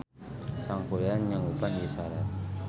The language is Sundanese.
Sangkuriang nyanggupan ieu sarat.